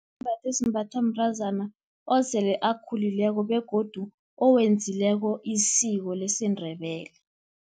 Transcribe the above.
Sisembatho esimbathwa mntazana, osele akhulileko begodu owenzileko isiko lesiNdebele.